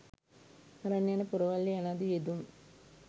අරන් යන පොරවල්ය යනාදී යෙදුම්